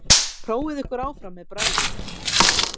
Prófið ykkur áfram með bragðið.